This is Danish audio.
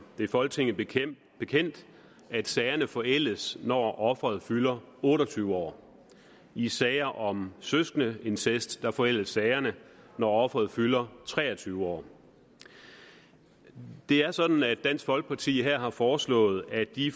det er folketinget bekendt at sagerne forældes når offeret fylder otte og tyve år i sager om søskendeincest forældes sagerne når offeret fylder tre og tyve år det er sådan at dansk folkeparti her har foreslået at de